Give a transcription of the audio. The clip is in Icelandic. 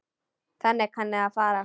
Þannig kann að fara.